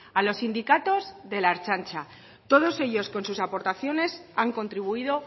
a los sindicatos de la ertzaintza todos ellos con sus aportaciones han contribuido